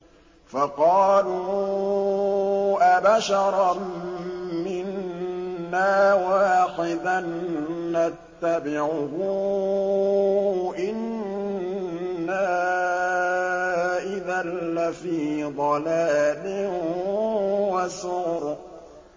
فَقَالُوا أَبَشَرًا مِّنَّا وَاحِدًا نَّتَّبِعُهُ إِنَّا إِذًا لَّفِي ضَلَالٍ وَسُعُرٍ